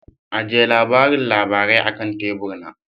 Ajiye labarin labarai akan tebur na.